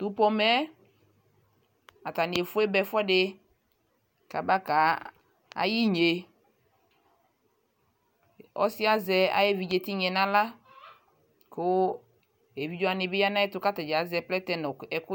tʋ pɔmɛ atani ɛƒʋɛ ba ɛƒʋɛdi kabaka yi inyɛ, ɔsiiɛ azɛ ayi ɛvidzɛ tinyaɛ nʋ ala kʋɛvidzɛ wani bi yanʋ ayɛtʋ kʋ atɛni azɛ plɛtɛ